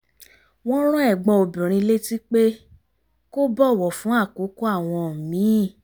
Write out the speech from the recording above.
wọ́n rán ẹ̀gbọ́n obìnrin létí pé kó bọ̀wọ̀ fún àkókò àwọn míì